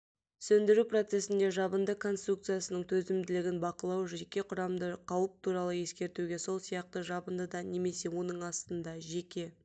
сөндіру процесінде жабынды конструкциясының төзімділігін бақылау жеке құрамды қауіп туралы ескертуге сол сияқты жабындыда немесе оның астында жеке